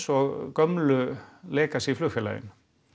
og gömlu flugfélögin